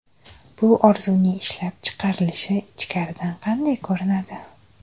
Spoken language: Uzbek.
Bu orzuning ishlab chiqarilishi ichkaridan qanday ko‘rinadi?